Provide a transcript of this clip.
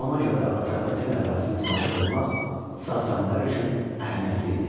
Ona görə də Atropatena ərazisinə sahib olmaq Sasanilər üçün əhəmiyyətli idi.